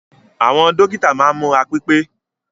Àwọn dókítà máa ni múra pipe.